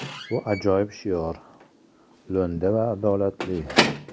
Bu ajoyib shior, lo‘nda va adolatli.